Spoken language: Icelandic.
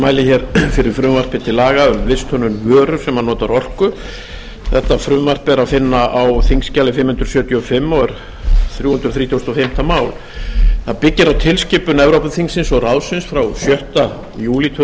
mæli fyrir frumvarpi til laga um visthönnun vöru sem notar orku þetta frumvarp er að finna á þingskjali fimm hundruð sjötíu og fimm og er þrjú hundruð þrítugustu og fimmta mál það byggir á tilskipun evrópuþingsins og ráðsins frá sjötta júlí tvö